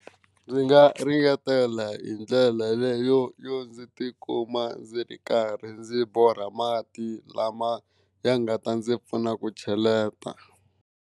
Ndzi nga ringetela hi ndlela leyo yo ndzi tikuma ndzi ri karhi ndzi borha mati lama ya nga ta ndzi pfuna ku cheleta.